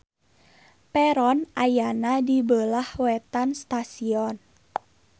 Peron ayana di beulah wetan stasion.